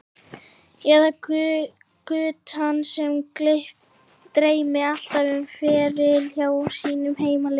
Eða guttann sem dreymdi alltaf um feril hjá sínu heimaliði?